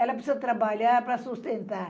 Ela precisa trabalhar para sustentar.